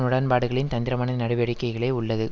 உடன் பாடுகளின் தந்திரமான நடவடிக்கைகளே உள்ளது